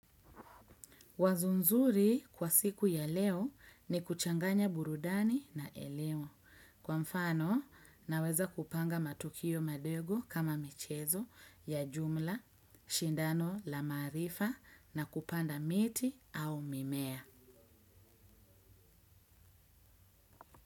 Wazo nzuri kwa siku ya leo ni kuchanganya burudani na eleo. Kwa mfano naweza kupanga matukio madego kama michezo ya jumla, shindano la maarifa na kupanda miti au mimea.